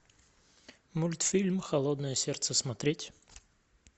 мультфильм холодное сердце смотреть